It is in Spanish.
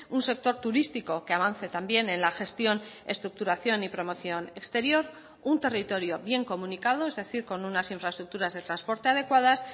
un sector turístico que avance también en la gestión estructuración y promoción exterior un territorio bien comunicado es decir con unas infraestructuras de transporte adecuadas